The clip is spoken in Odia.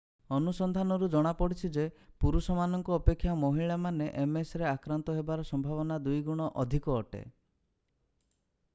ଅନୁସନ୍ଧାନରୁ ଜଣାପଡ଼ିଛି ଯେ ପୁରୁଷ ମାନଙ୍କ ଅପେକ୍ଷା ମହିଳାମାନେ msରେ ଆକ୍ରାନ୍ତ ହେବାର ସମ୍ଭାବନା ଦୁଇ ଗୁଣ ଅଧିକ ଅଟେ।